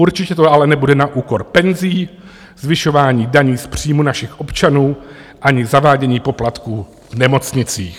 Určitě to ale nebude na úkor penzí, zvyšování daní z příjmu našich občanů ani zavádění poplatků v nemocnicích.